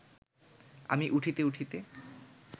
আমি উঠিতে উঠিতে